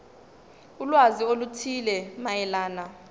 ulwazi oluthile mayelana